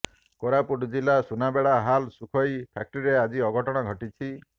କୋରାପୁଟ ଜିଲ୍ଲା Sunabeda HAL Sukhoi ଫ୍ୟାକ୍ଟ୍ରିରେ ଆଜି ଅଘଟଣ ଘଟିଛି